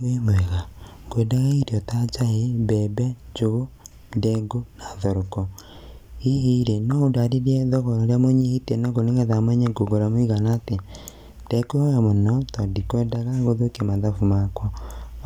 Wĩ mwega? Ngwendaga irio ta njahi, mbembe, njugu, ndengu na thoroko hihi rĩ no ũndarĩrie thogora ũria mũnyihĩtie naguo nĩgetha menye ngũgũra mũigana atia. Ndekuhoya mũno tondũ ndikwendaga gũthũkia mathabu makwa